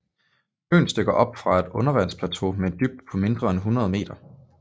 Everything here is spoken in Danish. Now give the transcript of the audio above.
Øen stikker op fra et undervandsplateau med en dybde på mindre end 100 meter